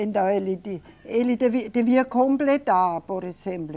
Então, ele de, ele devi, devia completar, por exemplo,